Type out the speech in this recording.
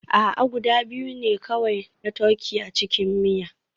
A'a, guda biyu ne kawai na turkey a cikin miya